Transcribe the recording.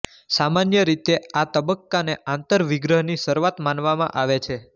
સામાન્ય રીતે આ તબક્કાને આંતરવિગ્રહની શરૂઆત માનવામાં આવે છે